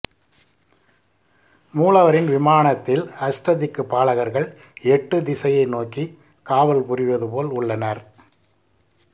மூலவரின் விமானத்தில் அஷ்டதிக்கு பாலகர்கள் எட்டு திசையை நோக்கி காவல் புரிவது போல் உள்ளனர்